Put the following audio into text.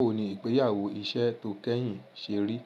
Báwo ni ìgbéyàwó iṣẹ́ tó kẹ́yìn ṣe rí?